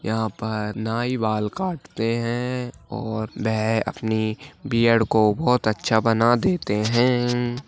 यहा पर नाई बाल काटते है। और वें अपनी बियर्ड को बहुत अच्छा बना देते है।